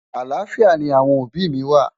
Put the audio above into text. àlàáfíà ní àwọn òbí mí wà